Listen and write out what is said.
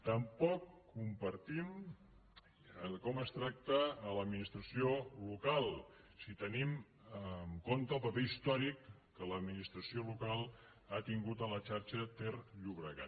tampoc compartim com es tracta a l’administració local si tenim en compte el paper històric que l’administració local ha tingut a la xarxa ter llobregat